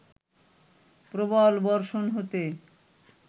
প্রবল বর্ষণ হতে